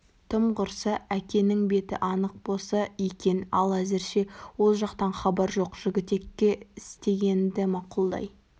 тым құрса әкенің беті анық болса екен ал әзірше ол жақтан хабар жоқ жігітекке істегенді мақұлдай